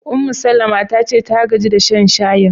Ummu-Salama ta ce ta gaji da shan shayin.